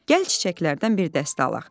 Gəl çiçəklərdən bir dəstə alaq.